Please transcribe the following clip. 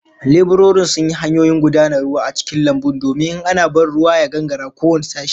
Leburorin sun yi hanyoyin gudanar ruwa a cikin lambun domin in ana ban ruwa ya gangara ko wane sashe